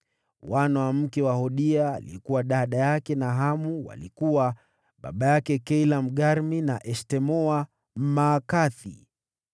Wana wa mke wa Hodia aliyekuwa dada yake Nahamu walikuwa: baba yake Keila, Mgarmi na Eshtemoa, Mmaakathi.